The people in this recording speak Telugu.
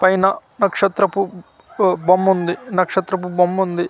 పైన నక్షత్రపు ఉ బొమ్ముంది నక్షత్రపు బొమ్ముంది.